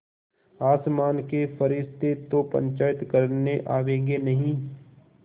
आसमान के फरिश्ते तो पंचायत करने आवेंगे नहीं